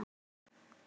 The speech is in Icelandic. Já, þetta eru jólin!